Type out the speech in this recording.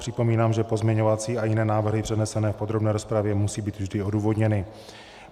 Připomínám, že pozměňovací a jiné návrhy přednesené v podrobné rozpravě musí být vždy odůvodněny.